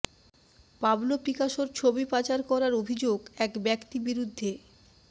Pablo পিকাসোর ছবি পাচার করার অভিযোগ এক ব্যক্তি বিরুদ্ধে